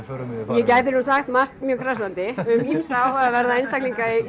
ég gæti nú sagt margt mjög krassandi um ýmsa áhugaverða einstaklinga í